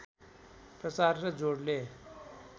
प्रचार र जोडले